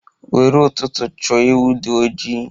Nwere ụtụtụ chọ ewu di ojii!